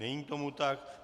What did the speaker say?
Není tomu tak.